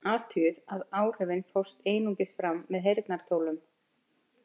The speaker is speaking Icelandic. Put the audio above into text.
Athugið að áhrifin fást einungis fram með heyrnartólum.